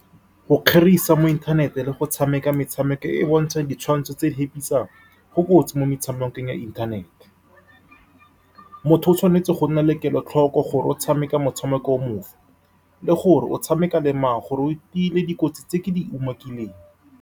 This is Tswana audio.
Go kgerisa mo inthanete le go tshameka metshameko e e bontshang ditshwantsho tse di hepisang go kotsi. Mo metshamekong ya inthanete, motho o tshwanetse go nna le kelotlhoko gore o tshameka motshameko o mofe le gore o tshameka le mang, gore o tile dikotsi tse ke di umakileng.